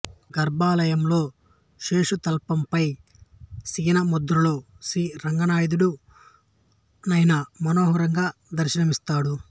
గర్భాలయంలో శేషుతల్పం పై శయనముద్రలో శీ రంగనాథడు నయన మనోహరంగా దర్శనమిస్తాడు